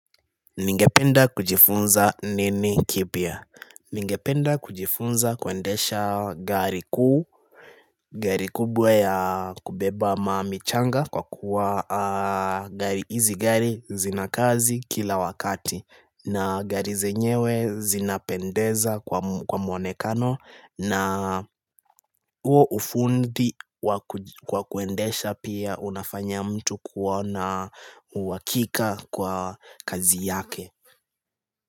Ningependa kujifunza nini kipya Ningependa kujifunza kuendesha gari kuu Gari kubwa ya kubeba mami changa kwa kuwa gari hizi gari zina kazi kila wakati na gari zenyewe zinapendeza kwa muo kwa muonekano na uo ufundi kwa kuendesha pia unafanya mtu kuwa na uhakika kwa kazi yake.